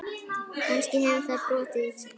Kannski hefur það brotið ísinn.